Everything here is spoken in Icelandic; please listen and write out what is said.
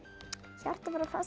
hjarta passa